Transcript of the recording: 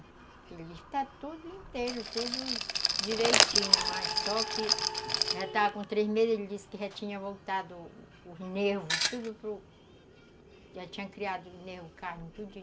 Ele disse que está tudo inteiro, tudo direitinho, mas só que já estava com três meses, ele disse que já tinha voltado o os nervos, tudo para... Já tinha criado o nervo, carne, tudinho.